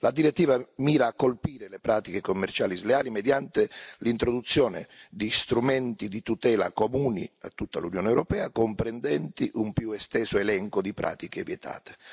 La direttiva mira a colpire le pratiche commerciali sleali mediante l'introduzione di strumenti di tutela comuni a tutta l'Unione europea, comprendenti un più esteso elenco di pratiche vietate.